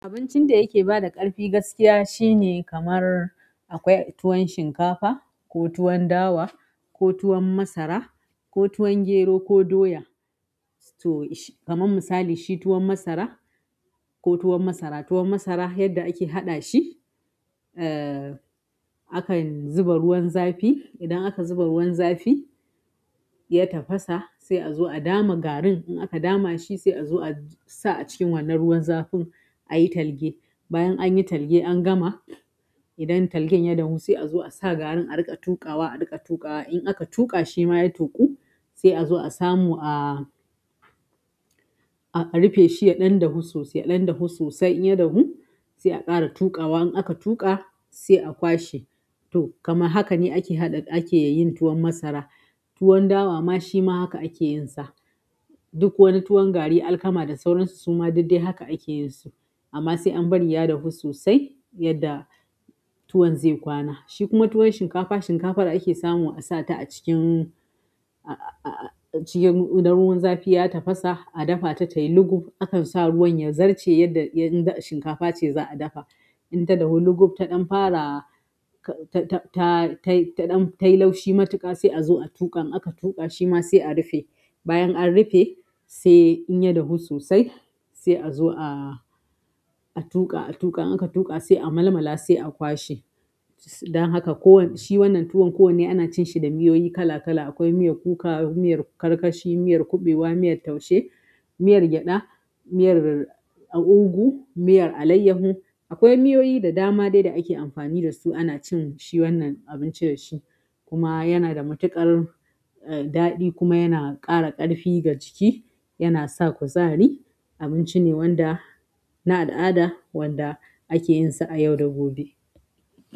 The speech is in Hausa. Abincin da yake bada ƙarfi gaskiya shine kamar akwai tuwon shinkafa ko tuwon dawa ko tuwon masara ko tuwon gero ko doya. To kamar misali shi tuwon masara ko tuwon masara tuwon masara yadda ake hadashi uhhm akan zuba ruwan zafi idan aka zuba ruwan zafi. Ya tafasa sai azo a dama garin idan aka dama shi sai azo a sa a cikin wannan ruwan zafin ayi talge. Bayan an yi talge an gama. Idan talgen ya dahu sai a zo a sa garin a riƙa tuƙawa, a riƙa tuƙawa. In aka tuƙa shi ma ya tuku sai a zo a samu a-a rufe shi ya ɗan dahu sosai, ya ɗan dahu sosai. In ya dahu sai a ƙara tuƙa. Wa in aka tuƙa sai a kwashe. To kamar haka ne ake haɗa ake yin tuwon masara. Tuwon dawa ma shi ma haka ake yin sa. Duk wani tuwon gari alkama da sauransu kuma duk dai haka ake yin su amma sai an bari ya dahu sosai yadda tuwon zai kwana. Shi kuma tuwon shinkafa, shinkafar ake samu a sa ta a cikin-a-a cikin ruwan zafi ya tafasa a dafa ta tayi luguf. Akan sa ruwan ya zarce yadda in shinkafa ce za a dafa. In ta dahu luguf ta ɗan fara ta-ta-ta tayi taɗan tayi laushi matuƙa sai a zo a tuƙa. In aka tuƙa shi ma sai a rufe. Bayan an rufe sai in ya dahu sosai sai a zo a-a tuƙa, a tuƙa. In aka tuƙa sai a malmala sai a kwashe. Don haka kowanne shi wannan tuwon kowanne ana cin shi da miyoyi kala kala. Akwai miyar kuka, miyar karkashi, miyar kuɓewa, miyar taushe, miyar gyaɗa, miyar ugu, miyar alayyahu. Akwai miyoyi da dama dai da ake amfani da su ana cin shi wannan abinci da shi. Kuma yana da matuƙar daɗi kuma yana ƙara ƙarfi ga jiki, yana sa kuzari. Abinci ne wanda na al'ada wanda ake yin sa a yau da gobe.